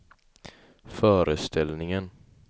föreställningen